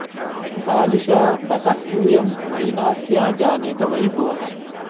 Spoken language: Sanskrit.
बालिशा बत यूयं वै नास्या जानीत वै भुवः